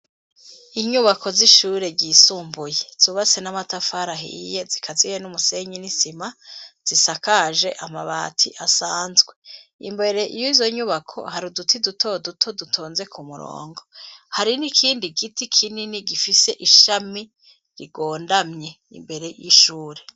Inyubako z'ishure ryisumbuye, zubatse n'amatafari ahiye, zikaziye n'umusenyi n'isima, zisakaje amabati asanzwe; imbere y'izo nyubako, hari uduti, duto duto, dutonze ku murongo; hari n'ikindi giti kinini, gifise ishami rigondamye, imbere y'ishure.